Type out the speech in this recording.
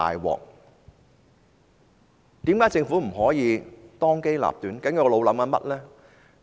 為何政府不可以當機立斷呢？